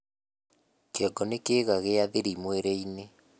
kĩongo ni kiiga gia thiri mwĩrĩ-ini